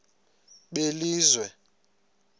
belizwe